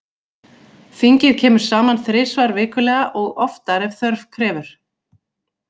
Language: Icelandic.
Þingið kemur saman þrisvar vikulega og oftar ef þörf krefur.